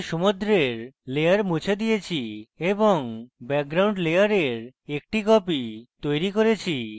আমি সমুদ্রের layer মুছে দিয়েছি এবং background layer একটি copy তৈরী করেছি